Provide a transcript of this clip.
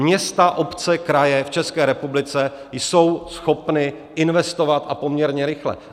Města, obce, kraje v České republice jsou schopny investovat, a poměrně rychle.